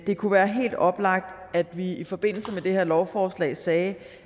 kunne være helt oplagt at vi i forbindelse med det her lovforslag sagde